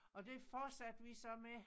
Og det fortsatte vi så med